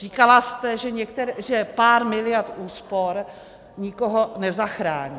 Říkala jste, že pár miliard úspor nikoho nezachrání.